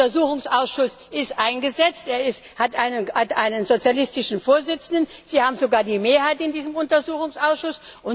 Der Untersuchungsausschuss ist eingesetzt, er hat einen sozialistischen Vorsitzenden, Sie haben sogar die Mehrheit in diesem Untersuchungsausschuss.